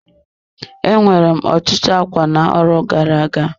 E nwere m otutu ákwá na-arọ gara-aga.